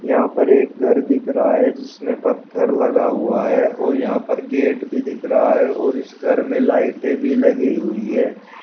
यहां पर एक घर दिख रहा है जिसमें पत्थर लगा हुआ है और यहां पर गेट भी दिख रहा है और इस घर में लाइटे भी लगी हुई है।